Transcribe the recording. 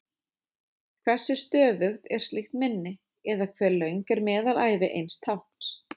Hversu stöðugt er slíkt minni, eða hve löng er meðalævi eins tákns?